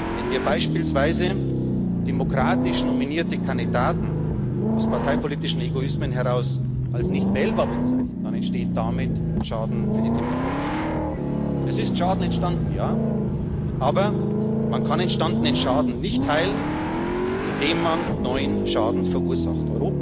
Wenn wir beispielsweise demokratisch nominierte Kandidaten aus parteipolitischen Egoismen heraus als nicht wählbar bezeichnen, entsteht damit Schaden für die Demokratie. Es ist Schaden entstanden, ja, aber man kann entstandenen Schaden nicht heilen, indem man neuen Schaden verursacht.